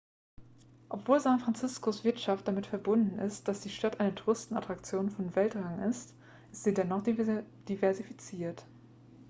obwohl san franciscos wirtschaft damit verbunden ist dass die stadt eine touristenattraktion von weltrang ist ist sie dennoch diversifiziert